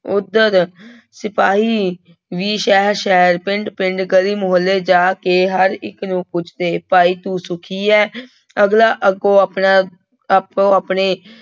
ਉੱਧਰ ਸਿਪਾਹੀ ਵੀ ਸ਼ਹਿਰ ਸ਼ਹਿਰ ਪਿੰਡ ਪਿੰਡ ਗਲੀ ਮੁਹੱਲੇ ਜਾ ਕੇ ਹਰ ਇੱਕ ਨੂੰ ਪੁੱਛਦੇ ਭਾਈ ਤੂੰ ਸੁਖੀ ਹੈ ਅਗਲਾ ਅੱਗੋਂ ਆਪਣਾ ਆਪੋ ਆਪਣੇ